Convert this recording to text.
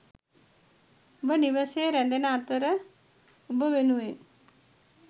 ඔබ නිවසේ ‍රැදෙන අතර ඔබ වෙනුවෙන් ...